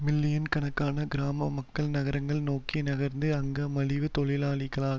million கணக்கான கிராம மக்கள் நகரங்களை நோக்கி நகர்ந்து அங்க மலிவு தொழிலாளியாக